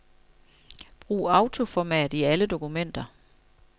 Brug autoformat i alle dokumenter.